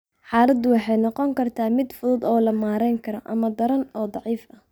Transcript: Xaaladdu waxay noqon kartaa mid fudud oo la maarayn karo, ama daran oo daciif ah.